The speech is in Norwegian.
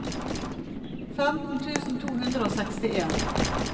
femten tusen to hundre og sekstien